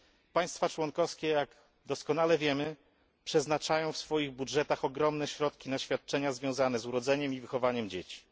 Państwa członkowskie jak doskonale wiemy przeznaczają w swoich budżetach ogromne środki na świadczenia związane z urodzeniem i wychowaniem dzieci.